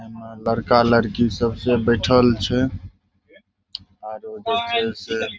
ए में लड़का-लड़की सब से बइठल छे। आरो बइठल से --